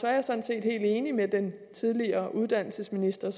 er jeg sådan set helt enig med den tidligere uddannelsesminister